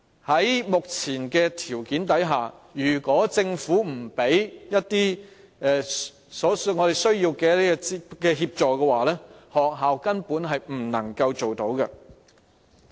在目前的條件下，如果政府不提供所需的協助，學校根本是不能做到的。